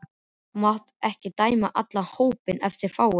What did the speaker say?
Þú mátt ekki dæma allan hópinn eftir fáum.